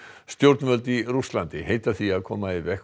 stjórnvöld í Rússlandi heita því að koma í veg